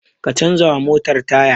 Ka canza wa motar taya!